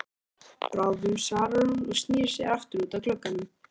Bráðum svarar hún og snýr sér aftur út að glugganum.